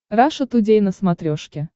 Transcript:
раша тудей на смотрешке